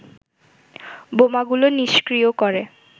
বোমাগুলো নিষ্ক্রীয় করে